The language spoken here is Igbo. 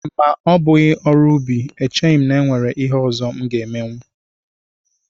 Ma ọ bụghị ọrụ ubi echeghị m na e nwere ihe ọzọ m ga-emenwu